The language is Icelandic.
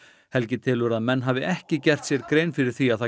helgi telur að menn hafi ekki gert sér grein fyrir því að það